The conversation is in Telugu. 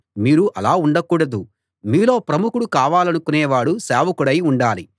మీరు అలా ఉండకూడదు మీలో ప్రముఖుడు కావాలనుకొనేవాడు సేవకుడై ఉండాలి